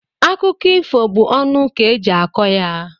Akụkọ ifo bụ ọnụ ka eji akọ ya.